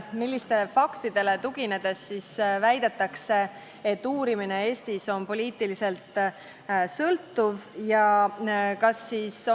Millistele faktidele tuginedes väidetakse, et uurimine Eestis on poliitiliselt sõltuv?